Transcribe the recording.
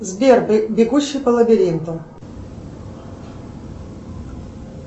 сбер бегущий по лабиринту